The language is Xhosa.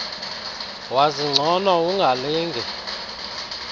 wazi ngcono ungalinge